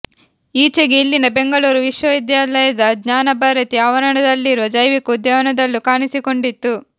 ಈಚೆಗೆ ಇಲ್ಲಿನ ಬೆಂಗಳೂರು ವಿಶ್ವವಿದ್ಯಾಲಯದ ಜ್ಞಾನಭಾರತಿ ಆವರಣದಲ್ಲಿರುವ ಜೈವಿಕ ಉದ್ಯಾನದಲ್ಲೂ ಕಾಣಿಸಿಕೊಂಡಿತ್ತು